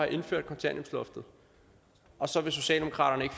indført kontanthjælpsloftet og så vil socialdemokratiet